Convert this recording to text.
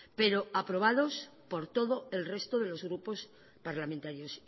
pero aprobados por todo el resto de los grupos parlamentarios